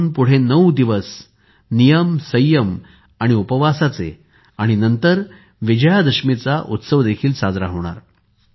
इथून पुढे नऊ दिवस नियमसंयम उपवासाचे आणि नंतर विजयादशमीचा उत्सव देखील साजरा होणार